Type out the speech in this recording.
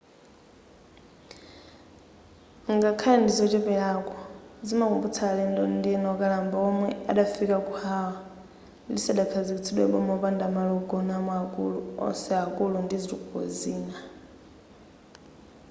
ngakhale ndizocheperako zimakumbutsa alendo ena okalamba omwe adafika ku hawaii lisadakhazikitsidwe boma opanda malo ogonamo akulu onse akulu ndi zitukuko zina